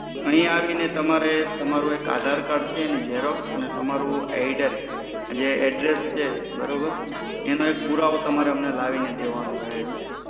અહિયાં આવી ને તમારે તમારું એક Aadhar card છે તેની xerox અને તમારું જે address છે બરોબર એનો એક પુરાવો તમારે અમને લાવીને દેવાનો રહે છે.